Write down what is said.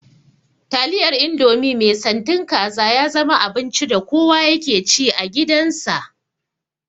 Taliyar indomie mai santin kaza ya zama abinci da kowa yake ci a gidan sa